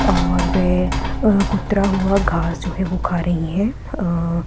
और वे अ कुतरा हुआ घास जो है वो खा रही हैं अ --